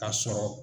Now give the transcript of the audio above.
Ka sɔrɔ